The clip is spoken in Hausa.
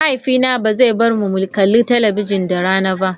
Mahaifina ba zai bar mu mu kalli talabijin da rana ba.